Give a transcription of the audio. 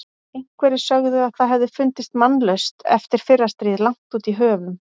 Einhverjir sögðu að það hefði fundist mannlaust eftir fyrra stríð langt út í höfum.